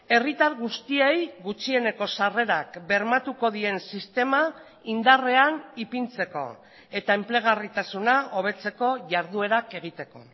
herritar guztiei gutxieneko sarrerak bermatuko dien sistema indarrean ipintzeko eta enplegarritasuna hobetzeko jarduerak egiteko